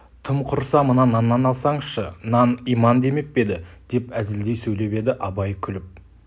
тым құрса мына наннан алсаңызшы нан иман демеп пе еді деп әзілдей сөйлеп еді абай күліп